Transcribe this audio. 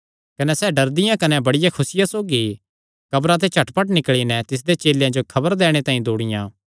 कने सैह़ डरदियां कने बड़ी खुसिया सौगी कब्रा ते झटपट निकल़ी नैं तिसदे चेलेयां जो खबर दैणे तांई दौड़ियां